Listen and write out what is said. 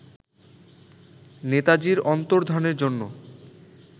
নেতাজীর অন্তর্ধানের জন্য